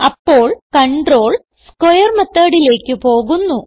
അപ്പോൾ control square methodലേക്ക് പോകുന്നു